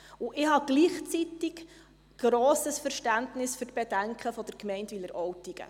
Ich habe gleichzeitig grosses Verständnis für die Bedenken der Gemeinde Wileroltigen.